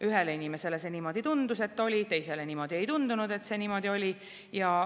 Ühele inimesele tundus, et niimoodi oli, teisele ei tundunud, et see niimoodi oli.